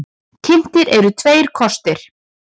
Kynntir eru tveir kostir.